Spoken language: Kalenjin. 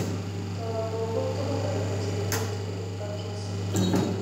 Tobok ko tukun alak cheimuch koip parkinson's